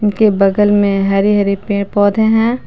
बगल में हरी हरी पेड़ पौधे हैं।